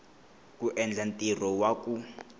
ku endla ntirho wa ku